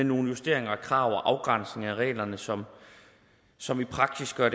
nogle justeringer af krav og afgrænsning af reglerne som som i praksis har